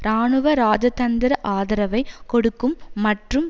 இராணுவ இராஜதந்திர ஆதரவை கொடுக்கும் மற்றும்